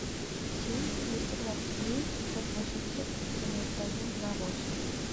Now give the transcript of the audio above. семь двести двадцать три пятьсот восемьдесят девяносто один два восемь